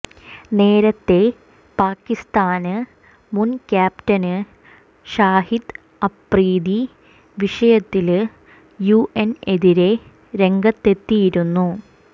നേരത്തെ പാകിസ്ഥാന് മുന് ക്യാപ്റ്റന് ഷാഹിദ് അഫ്രീദി വിഷയത്തില് യുഎന് എതിരെ രംഗത്തെത്തിയിരുന്നു